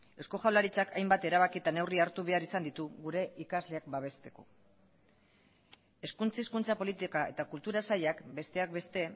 eusko jaurlaritzak hainbat erabaki eta neurri hartu behar izan ditu gure ikasleak babesteko hezkuntza hizkuntza politika eta kultura sailak besteak beste